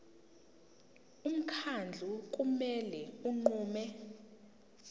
umkhandlu kumele unqume